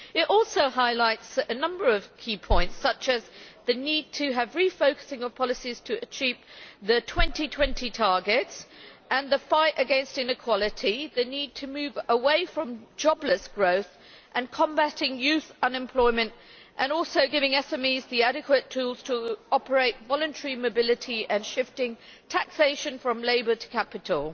It also highlights a number of key points such as the need to have refocusing of policies to achieve the 2020 targets, the fight against inequality, the need to move away from jobless growth, combating youth unemployment, giving SMEs adequate tools to operate voluntary mobility, and shifting taxation from labour to capital.